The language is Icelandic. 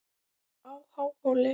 á Háhóli.